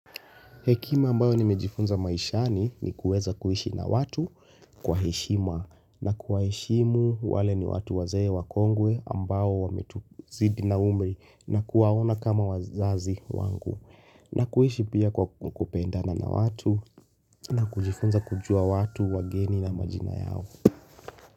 Hekima ambayo nimejifunza maishani ni kuweza kuishi na watu kwa heshima na kuwaheshimu wale ni watu wazee wakongwe ambao wamituzidi na umri na kuwaona kama wazazi wangu na kuishi pia kwa kupendana na watu na kujifunza kujua watu wageni na majina yao.